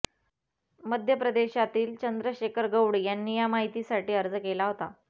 मध्य प्रदेशातील चंद्रशेखर गौड यांनी या माहितीसाठी अर्ज केला होता